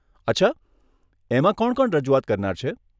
અચ્છા? એમાં કોણ કોણ રજૂઆત કરનાર છે?